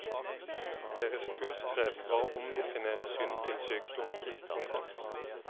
Deres kunstgrep var å omdefinere synd til sykdom. punktum